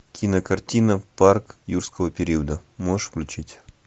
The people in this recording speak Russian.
кинокартина парк юрского периода можешь включить